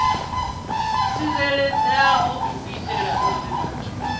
tsireledzeaho u itela uri vhathu